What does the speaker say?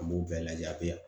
An b'o bɛɛ lajɛ a be yan